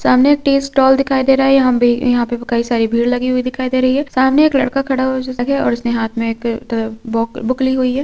सामने एक tea stall दिखाई दे रहा है । यहाँ पे कई सारी भीड़ लगी हुई दिखाई दे रही है। सामने एक लड़का खड़ा हुआ है उसने हाथ बु बुक ली हुई है।